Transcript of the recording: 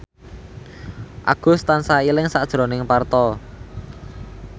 Agus tansah eling sakjroning Parto